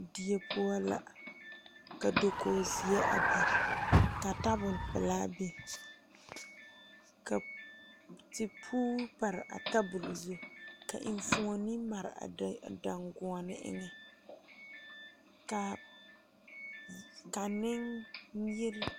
Die poɔ la ka dokoge zeɛ a biŋ ka tabol pelaa biŋ ka tipuure pare a tabol zu ka enfuone mare a dan a danguoɔne eŋɛ kaa ka neŋ yire.